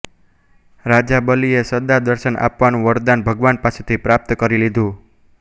રાજા બલિએ સદા દર્શન આપવાનું વરદાન ભગવાન પાસેથી પ્રાપ્ત કરી લીધું